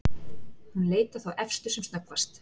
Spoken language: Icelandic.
Hún leit á þá efstu sem snöggvast.